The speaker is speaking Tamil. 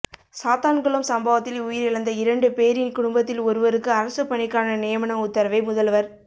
சாத்தான்குளம் சம்பவத்தில் உயிரிழந்த இரண்டு பேரின் குடும்பத்தில் ஒருவருக்கு அரசுப் பணிக்கான நியமன உத்தரவை முதல்வர்